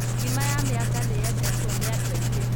Ngima ya mĩanga nĩ yendetwo nĩ andũaingĩ